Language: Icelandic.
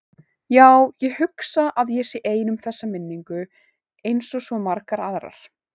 Já, ég hugsa að ég sé ein um þessa minningu einsog svo margar aðrar.